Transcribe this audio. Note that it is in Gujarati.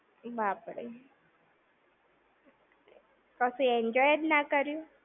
બાપ રે! કશું enjoy જ ના કર્યું?